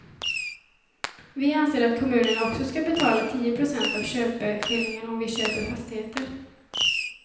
Vi anser att kommunerna också skall betala tio procent av köpeskillingen om vi köper fastigheter.